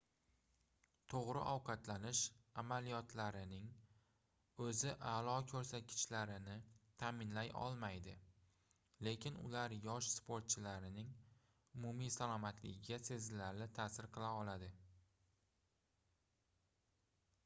toʻgʻri ovqatlanish amaliyotlarining oʻzi aʼlo koʻrsatkichlarni taʼminlay olmaydi lekin ular yosh sportchilarning umumiy salomatligiga sezilarli taʼsir qila oladi